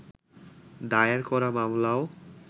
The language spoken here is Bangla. দায়ের করা মামলাও